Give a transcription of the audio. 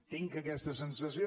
tinc aquesta sensació